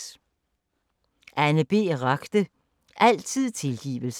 Anne B. Ragde: Altid tilgivelse